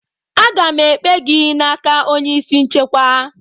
Aga m ekpe gị n'aka onye isi nchekwa!